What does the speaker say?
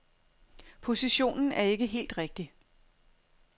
Positionen er ikke helt rigtig.